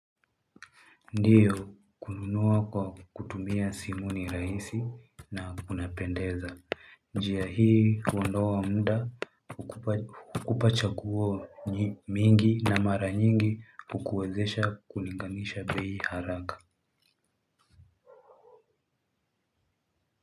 Ndiyo kununua kwa kutumia simu ni rahisi na kuna pendeza. Njia hii huondoa muda hukupa chaguo mingi na mara nyingi kukuwezesha kulinganisha bei haraka.